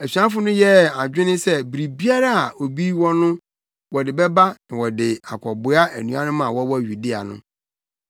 Asuafo no yɛɛ adwene sɛ biribiara a obi wɔ no wɔde bɛba na wɔde akɔboa anuanom a wɔwɔ Yudea no.